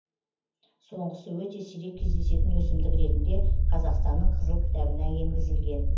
соңғысы өте сирек кездесетін өсімдік ретінде қазақстанның қызыл кітабына енгізілген